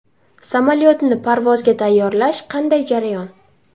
Samolyotni parvozga tayyorlash qanday jarayon?